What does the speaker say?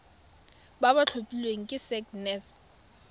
ba ba tlhophilweng ke sacnasp